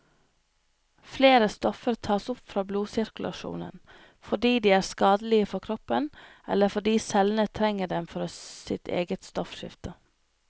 Flere stoffer tas opp fra blodsirkulasjonen, fordi de er skadelige for kroppen, eller fordi cellene trenger dem for sitt eget stoffskifte.